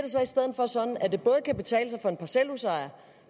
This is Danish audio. så i stedet for sådan at det både kan betale sig for en parcelhusejer